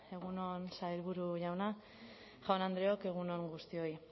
egun on sailburu jauna jaun andreok egun on guztioi